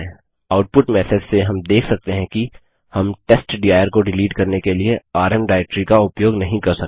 output message से हम देख सकते हैं कि हम टेस्टडिर को डिलीट करने के लिए आरएम डाइरेक्टरी का उपयोग नहीं कर सकते